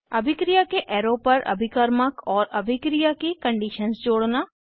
अभिक्रिया के एरो पर अभिकर्मक और अभिक्रिया की कंडीशन्स जोड़ना